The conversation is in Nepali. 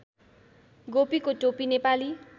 गोपीको टोपी नेपाली